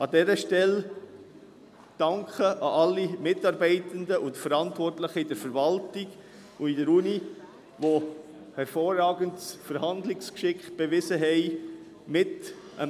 An dieser Stelle danke ich allen Mitarbeitenden und Verantwortlichen seitens von Verwaltung und Universität, die hervorragendes Verhandlungsgeschick bewiesen haben.